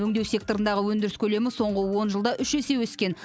өңдеу секторындағы өндіріс көлемі соңғы он жылда үш есе өскен